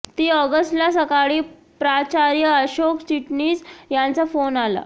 तीन ऑगस्टला सकाळी प्राचार्य अशोक चिटणीस यांचा फोन आला